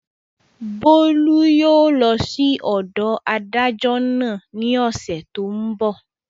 Bólú yóò lọ sí ọ̀dọ̀ adájọ́ náà ní ọ̀sẹ̀ tó n bọ̀